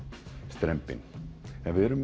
strembinn en við erum